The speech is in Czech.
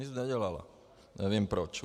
Nic nedělala, nevím proč.